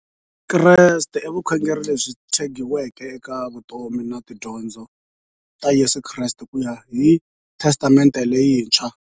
Vukreste i vukhongeri lebyi tshegiweke eka vutomi na tidyondzo ta Yesu Kreste kuya hi Testamente leyintshwa.